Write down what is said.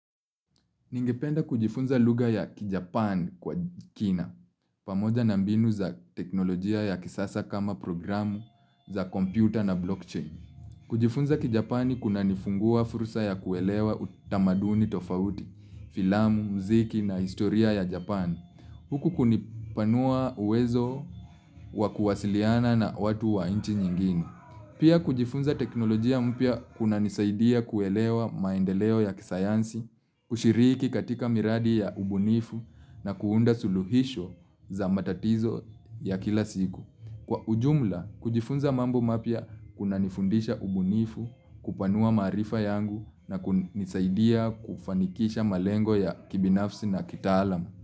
Ningependa kujifunza luga ya kijapani kwa kina, pamoja na mbinu za teknolojia ya kisasa kama programu za kompyuta na blockchain. Kujifunza kijapani kunanifungua fursa ya kuelewa utamaduni tofauti, filamu, mziki na historia ya japani, huku kunipanua uwezo wa kuwasiliana na watu wa inchi nyingine. Pia kujifunza teknolojia mpya kunanisaidia kuelewa maendeleo ya kisayansi, kushiriki katika miradi ya ubunifu na kuunda suluhisho za matatizo ya kila siku. Kwa ujumla, kujifunza mambo mapya kuna nifundisha ubunifu kupanua maarifa yangu na kunisaidia kufanikisha malengo ya kibinafsi na kitaalam.